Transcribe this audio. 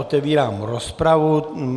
Otevírám rozpravu.